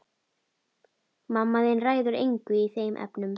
Mamma þín ræður engu í þeim efnum.